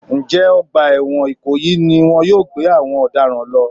Ǹjẹ́ ọgbà ẹ̀wọ̀n ìkòyí ni wọn yóò gbé àwọn ọ̀daràn lọ?